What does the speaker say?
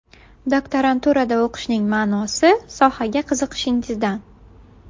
Doktoranturada o‘qishning ma’nosi sohaga qiziqishingizdan.